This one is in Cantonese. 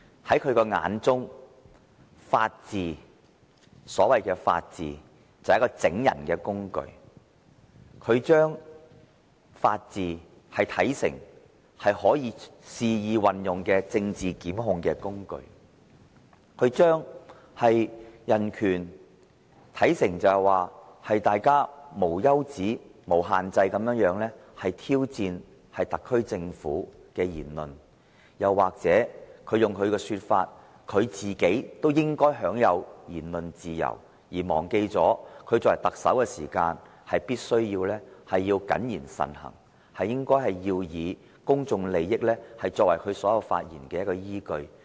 在他眼中，所謂的法治只是整人的工具，他把法治視為可以肆意運用的政治檢控工具；將人權視為大家無休止、無限制地挑戰特區政府的言論，又或如他所說，他亦應享有言論自由，忘記他作為特首必須謹言慎行，以公眾利益作為他發言的依據。